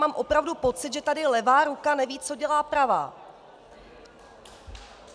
Mám opravdu pocit, že tady levá ruka neví, co dělá pravá.